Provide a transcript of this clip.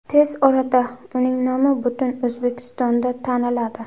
Tez orada uning nomi butun O‘zbekistonda taniladi.